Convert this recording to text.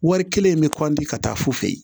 Wari kelen in bɛ ka taa su fɛ yen